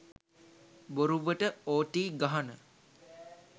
බොරුවට ඕටී ගහන